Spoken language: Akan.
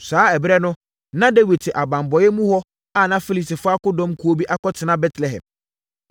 Saa ɛberɛ no, na Dawid te abanbɔeɛ mu hɔ a na Filistifoɔ akodɔm kuo bi akɔtena Betlehem.